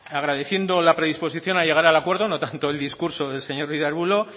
agradeciendo la predisposición a llegar al acuerdo no tanto con el discurso del señor ruiz de arbulo